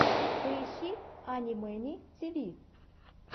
поищи ани мэни тиви